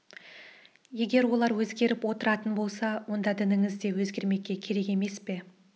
егер олар өзгеріп отыратын болса онда дініңіз де өзгермекке керек емес пе